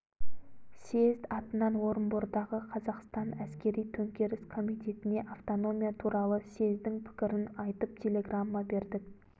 съезд атынан орынбордағы қазақстан әскери-төңкеріс комитетіне автономия туралы съездің пікірін айтып телеграмма бердік